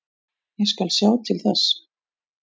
Ég skal sjá til þess.